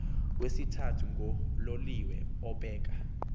wesithathu ngololiwe obheka